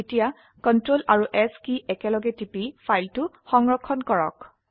এতিয়া Ctrl আৰু S কি একেলগে টিপি ফাইলটি সংৰক্ষণ কৰক